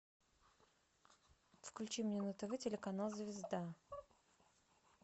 включи мне на тв телеканал звезда